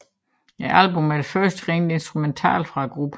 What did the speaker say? Albummet er det første rent instrumentale fra gruppen